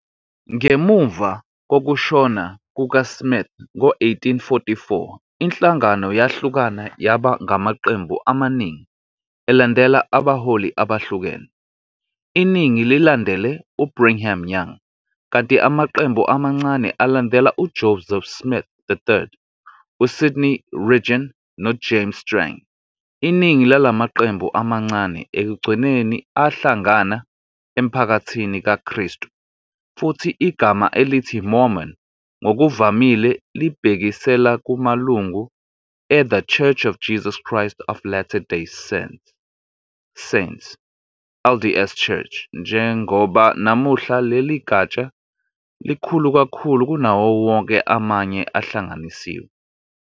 Ngemuva kokushona kukaSmith ngo-1844 inhlangano yahlukana yaba ngamaqembu amaningi elandela abaholi abehlukene, iningi lilandele uBrigham Young, kanti amaqembu amancane alandela uJoseph Smith III, uSidney Rigdon, noJames Strang. Iningi lala maqembu amancane ekugcineni ahlangana eMphakathini kaKristu, futhi igama elithi "Mormon" ngokuvamile libhekisela kumalungu e- The Church of Jesus Christ of Latter-day Saints, LDS Church, njengoba namuhla leli gatsha likhulu kakhulu kunawo wonke amanye ahlanganisiwe.